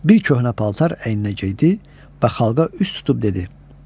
Bir köhnə paltar əyninə geydi və xalqa üz tutub dedi: